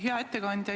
Hea ettekandja!